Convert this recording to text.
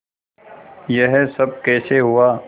यह सब कैसे हुआ